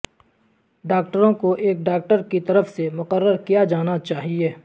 ڈاکٹروں کو ایک ڈاکٹر کی طرف سے مقرر کیا جانا چاہئے